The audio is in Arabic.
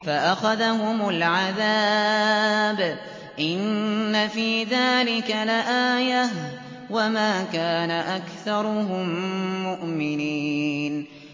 فَأَخَذَهُمُ الْعَذَابُ ۗ إِنَّ فِي ذَٰلِكَ لَآيَةً ۖ وَمَا كَانَ أَكْثَرُهُم مُّؤْمِنِينَ